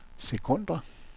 sekunder